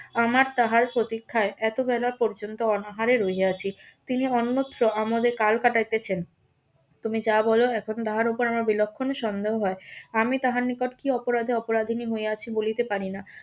আমার তাহার প্রতীক্ষায় এত বেলা পর্যন্ত অনাহারে রহিয়াছি তিনি অন্যত্র আমাদের কাল কাটাইতেছেন তুমি যা বল এখন তাহার উপর আমার বিলক্ষণ সন্দেহ হয় আমি তাহার নিকট কি অপরাধে অপরাধীনি হইয়াছি বলিতে পারি না